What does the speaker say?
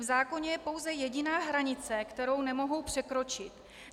V zákoně je pouze jediná hranice, kterou nemohou překročit.